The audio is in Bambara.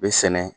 Bɛ sɛnɛ